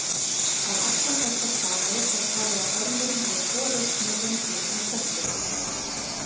Á alla þessa staði er talið að ormurinn hafi borist með innfluttum plöntum.